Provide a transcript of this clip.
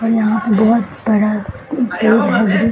और यहाँ पर बहुत बड़ा --